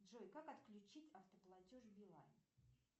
джой как отключить автоплатеж билайн